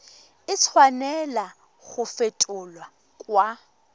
a tshwanela go fetolwa kwa